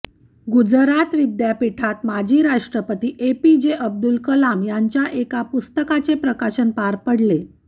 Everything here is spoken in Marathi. गुजरात विद्यापीठात माजी राष्ट्रपती A P J Abdul Kalam यांच्या एका पुस्तकाचे प्रकाशन पार पडले